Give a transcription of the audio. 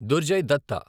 Durjay Datta